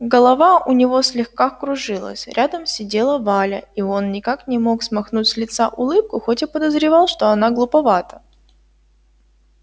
голова у него слегка кружилась рядом сидела валя и он никак не мог смахнуть с лица улыбку хоть и подозревал что она глуповата